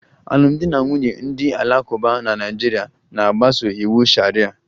Alụmdi na nwunye ndị Alakụba na Naịjirịa na-agbaso iwu sharia